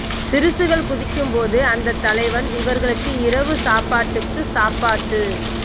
சிறுசுகள் குதிக்கும் போது அந்த தலைவன் இவர்களுக்கு இரவு சாப்பாட்டுக்கு சாப்பாட்டு